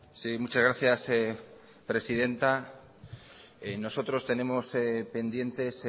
sí muchas gracias presidenta nosotros tenemos pendientes